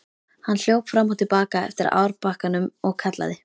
Hann hljóp fram og til baka eftir árbakkanum og kallaði.